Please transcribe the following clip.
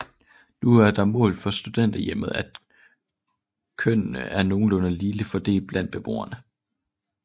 Nu er det et mål for Studenterhjemmet at kønnene er nogenlunde ligeligt fordelt blandt beboerne